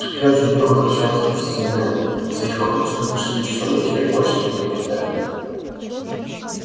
все ученики возвращаются в гостиные своих факультетов до шести часов вечера и больше их не покидают